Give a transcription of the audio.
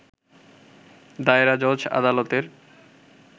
দায়রা জজ আদালতের